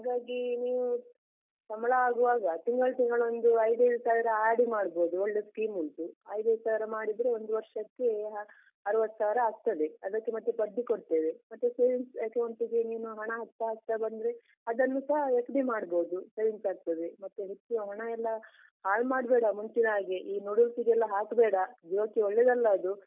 ಹಾಗಾಗಿ ನೀವು ಸಂಬಳ ಅಗ್ವಾಗ ತಿಂಗಳ್ ತಿಂಗಳು ಒಂದು ಐದ್ ಐದು ಸಾವಿರ RD ಮಾಡ್ಬೋದು, ಒಳ್ಳೆ scheme ಉಂಟು ಐದ್ ಐದು ಸಾವಿರ ಮಾಡಿದ್ರೆ ಒಂದು ವರ್ಷಕ್ಕೆ ಅರ್ವತ್ ಸಾವ್ರ ಆಗ್ತದೆ, ಅದಕ್ಕೆ ಮತ್ತೆ ಬಡ್ಡಿ ಕೊಡ್ತೇವೆ, ಮತ್ತೆ savings account ಗೆ ನಿಮ್ಮ ಹಣ ಹಾಕ್ತ ಹಾಕ್ತ ಬಂದ್ರೆ ಅದನ್ನು ಸಹಾ FD ಮಾಡ್ಬೋದು savings ಆಗ್ತದೆ, ಮತ್ತೆ ಹೆಚ್ಚು ಹಣಯೆಲ್ಲ ಹಾಳ್ ಮಾಡ್ಬೇಡ ಮುಂಚಿನ್ಹಾಗೆ ಈ noodles ಗೆಲ್ಲ ಹಾಕ್ಬೇಡ ಜೀವಕ್ಕೆ ಒಳ್ಳೇದಲ್ಲ ಅದು.